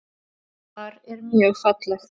Þar er mjög fallegt.